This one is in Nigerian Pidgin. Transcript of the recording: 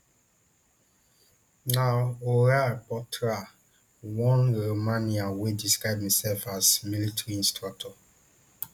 na horaiu potra one romanian wey describe himself as military instructor